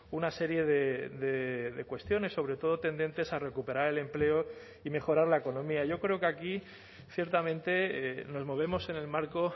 una serie de cuestiones sobre todo tendentes a recuperar el empleo y mejorar la economía yo creo que aquí ciertamente nos movemos en el marco